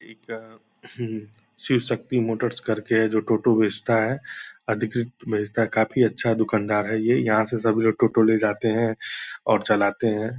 इका शिव शक्ति मोटर्स करके है जो टोटो बेचता है अधिकृत बेचता है काफ़ी अच्छा दुकानदार है ये यहाँ से सब लोग टोटो ले जाते हैं और चलाते हैं ।